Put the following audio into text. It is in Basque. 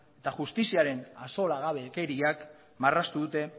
eta justiziaren axolagabekeriak marraztu dute